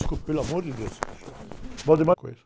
Desculpe, pelo amor de Deus.